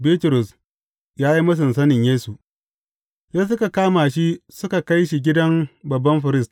Bitrus ya yi mūsun sanin Yesu Sai suka kama shi suka kai shi gidan babban firist.